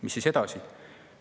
Mis siis edasi?